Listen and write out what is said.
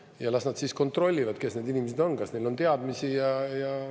Ja las nad siis kontrollivad, kes need inimesed on, kas neil on teadmisi.